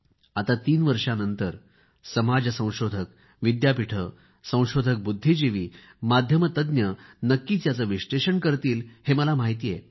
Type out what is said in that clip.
आता तीन वर्षानंतर समाज संशोधक विद्यापीठे संशोधक बुद्धिजीवी माध्यम तज्ज्ञ नक्कीच याचे विश्लेषण करतील हे मला माहिती आहे